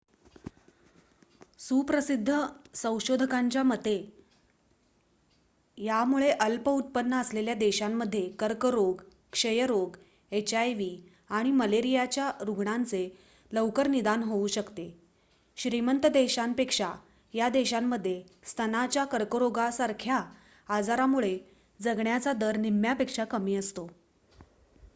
सुप्रसिद्ध संशोधकांच्या मते यामुळे अल्प उत्पन्न असलेल्या देशांमध्ये कर्करोग क्षयरोग एचआयव्ही आणि मलेरियाच्या रुग्णांचे लवकर निदान होऊ शकते श्रीमंत देशांपेक्षा या देशांमध्ये स्तनाच्या कर्करोगासारख्या आजारांमुळे जगण्याचा दर निम्म्यापेक्षा कमी असतो